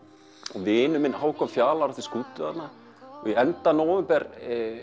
og vinur minn Hákon Fjalar átti skútu þarna við enda nóvember